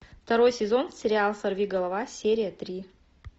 второй сезон сериал сорвиголова серия три